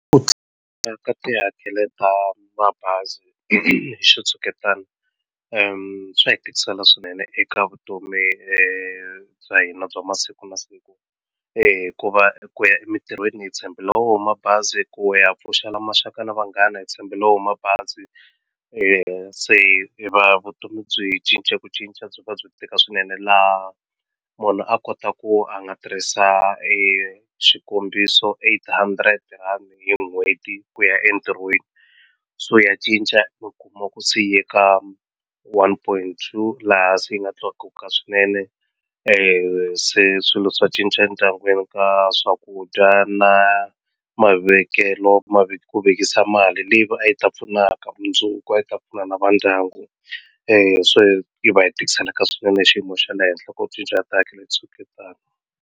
Ku tlakuka ka tihakelo ta mabazi hi xitshuketana swa hi tikisela swinene eka vutomi bya hina bya masiku na siku hikuva ku ya emitirhweni hi tshembela wona mabazi ku ya pfuxela maxaka na vanghana hi tshembela wona mabazi se vutomi byi cince ku cinca byi va byi tika swinene laha munhu a kota ku a nga tirhisa e xikombiso eight hundred rand hi n'hweti ku ya entirhweni so ya cinca i kuma ku se yi ya ka one point two laha se yi nga tlakuka swinene se swilo swa cinca endyangwini ka swakudya na mavekelo ma ku vekisa mali leyi a yi ta pfunaka mundzuku a yi ta pfuna na va ndyangu so hi va hi tikiseleka swinene hi xiyimo xa le henhla ku cinca ka xitshuketana.